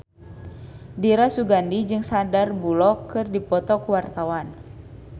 Dira Sugandi jeung Sandar Bullock keur dipoto ku wartawan